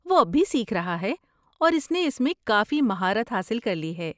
وہ اب بھی سیکھ رہا ہے اور اس نے اس میں کافی مہارت حاصل کر لی ہے۔